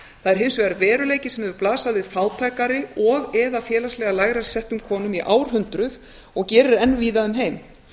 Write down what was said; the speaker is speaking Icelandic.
er hins vegar veruleiki sem hefur blasað við fátækari og eða félagslega lægra settum konum í árhundruð og gerir enn víða um heim